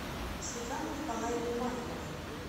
светланой николаевной маликовой